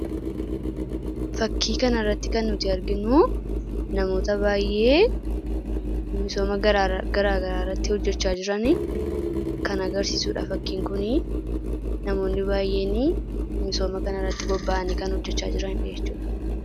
Fakkii kana irratti kan nuti arginu namoota baay'ee misooma gara garaa irratti hojjachaa jiran kan agarsiisudha fakkiin kuni. Namoonni baay'een misooma kana irratti bobba'anii kan hojjechaa jiranidha jechuudha.